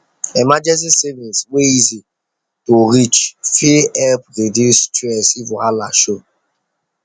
emergency savings wey easy to reach fit help reduce stress if wahala show